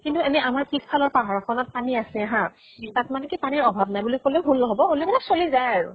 কিন্তু এনে আমাৰ পিছ্ফালৰ পাহাৰ খনত পানী আছে হা। তাত মানে কি পানীৰ অভাব নাই বুলি কলেও ভুল নহব। হলেও মানে চলি যায় আৰু।